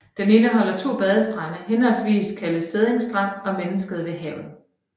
Den indeholder to badestrande henholdsvis kaldet Sædding Strand og Mennesket ved Havet